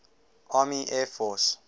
army air force